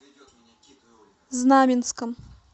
знаменском